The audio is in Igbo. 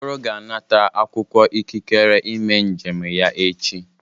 Okoro ga-anata akwụkwọ ikikere ime njem ya echi.